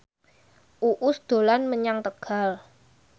Uus dolan menyang Tegal